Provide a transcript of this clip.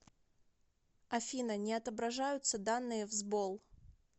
афина не отображаются данные в сбол